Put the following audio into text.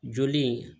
Joli in